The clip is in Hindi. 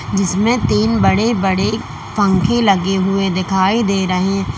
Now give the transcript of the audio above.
जिसमें तीन बड़े बड़े पंखे लगे हुए दिखाई दे रहे--